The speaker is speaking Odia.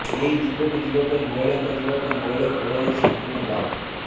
ଏହି ଦ୍ୱୀପକୁ ଯିବା ପାଇଁ ମହିଳାଙ୍କ ଯିବା ପାଇଁ ମହିଳାଙ୍କୁ କରାଯାଇଛି ସମ୍ପୂର୍ଣ୍ଣ ବାରଣ